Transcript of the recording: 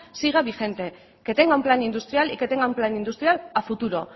siga vigente que tenga un plan industrial y que tenga un plan industrial a futuro